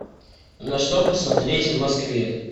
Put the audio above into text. на что посмотреть в москве